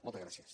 moltes gràcies